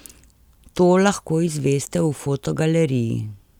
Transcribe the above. To lahko izveste v fotogaleriji.